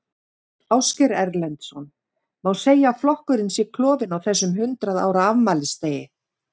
Ásgeir Erlendsson: Má segja að flokkurinn sé klofinn á þessum hundrað ára afmælisdegi?